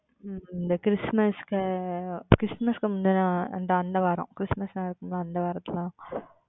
உம் இந்த Christmas க்கு Christmas க்கு முந்தய வாரம் அந்த வாரம் Christmas நடக்கும் ல அந்த வாரத்தில் தான்